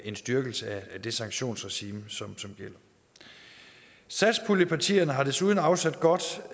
en styrkelse af det sanktionsregime som gælder satspuljepartierne har desuden afsat godt